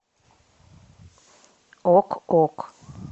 ок ок